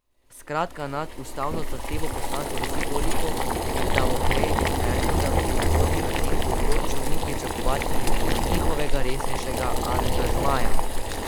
Skratka, nad ustavno zahtevo poslancev visi toliko Damoklejevih mečev, da v prihodnje na tem področju ni pričakovati njihovega resnejšega angažmaja.